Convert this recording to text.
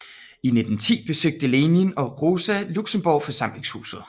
I 1910 besøgte Lenin og Rosa Luxemburg forsamlingshuset